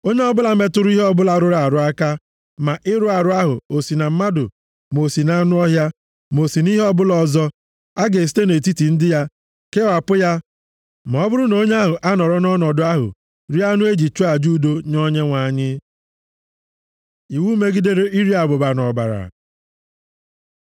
Onye ọbụla metụrụ ihe ọbụla rụrụ arụ aka, ma ịrụ arụ ahụ o si na mmadụ, ma o si nʼanụ ọhịa, ma o si nʼihe ọbụla ọzọ, a ga-esite nʼetiti ndị ya kewapụ ya ma ọ bụrụ na onye ahụ anọrọ nʼọnọdụ ahụ rie anụ e ji chụọ aja udo nye Onyenwe anyị.’ ” Iwu megidere iri abụba na ọbara